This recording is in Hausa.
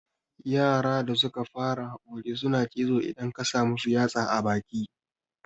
Yara da suka fara haƙori suna cizo idan ka samu yatsa a baki